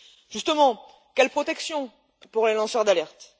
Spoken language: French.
Justement, quelle protection pour les lanceurs d'alerte?